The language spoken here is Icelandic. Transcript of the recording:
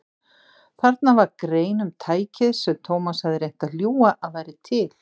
Þarna var grein um tækið sem Thomas hafði reynt að ljúga að væri til.